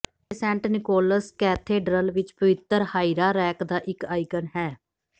ਅਤੇ Saint Nicholas cathedral ਵਿੱਚ ਪਵਿੱਤਰ ਹਾਇਰਾਰੈਕ ਦਾ ਇੱਕ ਆਈਕਨ ਹੈ